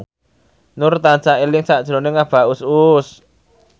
Nur tansah eling sakjroning Abah Us Us